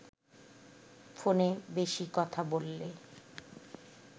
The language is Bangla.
ফোনে বেশি কথা বললে